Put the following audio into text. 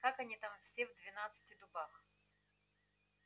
как они там все в двенадцати дубах